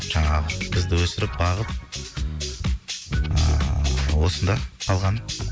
жаңағы бізді өсіріп бағып ыыы осында қалған